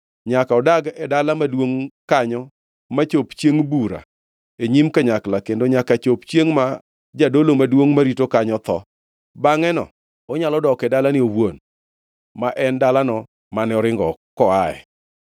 Nyaka odag e dala maduongʼ kanyo machop chiengʼ bura e nyim kanyakla kendo nyaka chop chiengʼ ma jadolo maduongʼ marito kanyo tho. Bangʼeno onyalo dok e dalane owuon, ma en dalano mane oringo koaye.”